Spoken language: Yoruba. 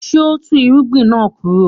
Did he uproot the crop?